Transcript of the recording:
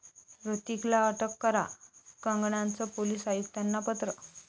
ह्रतिकला अटक करा, कंगनाचं पोलीस आयुक्तांना पत्र